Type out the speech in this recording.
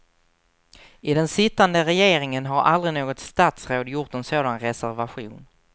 I den sittande regeringen har aldrig något statsråd gjort en sådan resevation.